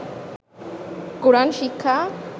কোরআন শিক্ষা